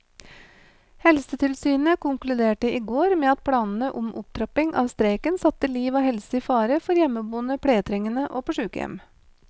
Helsetilsynet konkluderte i går med at planene om opptrapping av streiken satte liv og helse i fare for hjemmeboende pleietrengende og på sykehjem.